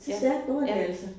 Så stærkt går det altså